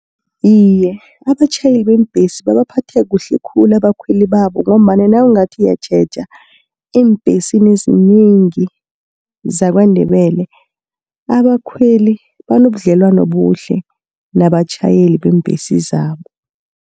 Iye abatjhayeli bembhesi babaphatha kuhle khulu abakhweli babo, ngombana nawungathi uyatjheja eembhesini ezinengi, zaKwaNdebele abakhweli banobudlelwano obuhle nabatjhayeli beembhesi zabo.